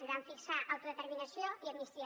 i van fixar autodeterminació i amnistia